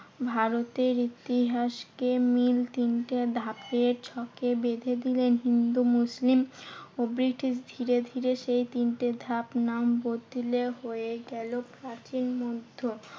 ভারতের ইতিহাসকে মিল তিনটি ধাপের ছকে বেঁধে দিলেন হিন্দু, মুসলিম ও ব্রিটিশ। ধীরে ধীরে সেই তিনটে ধাপ নাম বদলে হয়ে গেলো প্রাচীন মধ্য